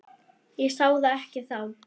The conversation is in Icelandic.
Ég sá það ekki þá.